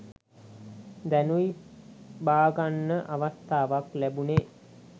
දැනුයි බාගන්න අවස්ථාවක් ලැබුනේ